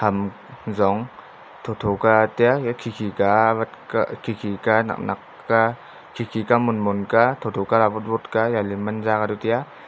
ham zong thotho ka taiya eya khikhi ka awat kah khikhi ka naknak khkhi ka monmon thotho kaley awotwot ka yali manza kachu taiya.